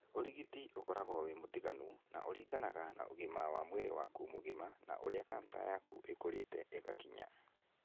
Ũrigiti ũkoragwo wĩ mũtiganu na ũriganaga na ũgima wa mwĩrĩ waku mũgima na ũrĩa cancer yakũ ĩkũrĩte ĩgakinya.